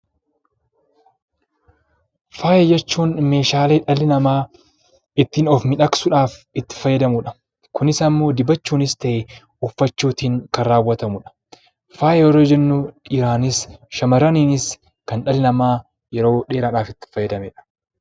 Faaya jechuun meeshaalee dhalli namaa ittiin of miidhagsuudhaaf itti fayyadamuu dha. Kunis ammoo dibachuunis ta'e uffachuutiin kan raawwatamu dha. Faaya yeroo jennu dhiiraanis shamarraniinis kan dhalli namaa yeroo dheeraadhaaaf itti fayyadamee dha.